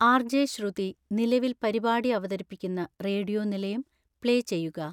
R. J. Shruthi നിലവിൽ പരിപാടി അവതരിപ്പിക്കുന്ന റേഡിയോ നിലയം പ്ലേ ചെയ്യുക